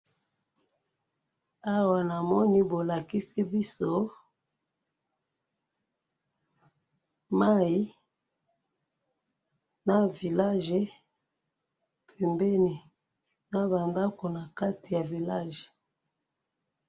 awa namoni bolakisi biso mayi, na village pembeni na ba ndako nakati ya village.